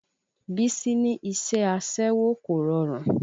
Bísí ní iṣẹ́ aṣẹ́wó kò rọrùn